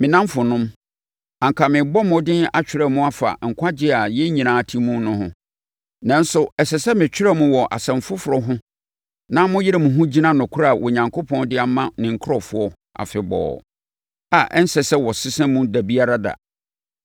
Me nnamfonom, anka merebɔ mmɔden atwerɛ mo afa nkwagyeɛ a yɛn nyinaa te mu no ho. Nanso, ɛsɛ sɛ metwerɛ mo wɔ asɛm foforɔ ho na moyere mo ho gyina nokorɛ a Onyankopɔn de ama ne nkurɔfoɔ afebɔɔ, a ɛnsɛ sɛ wɔsesa mu da biara da.